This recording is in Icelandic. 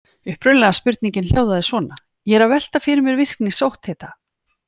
Upprunalega spurningin hljóðaði svona: Ég er að velta fyrir mér virkni sótthita.